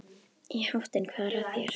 Í háttinn, hvað er að þér?